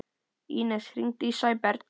Ínes, hringdu í Sæberg.